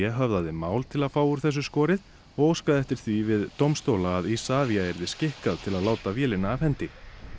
höfðaði mál til að fá úr þessu skorið og óskaði eftir því við dómstóla að Isavia yrði skikkað til að láta vélina af hendi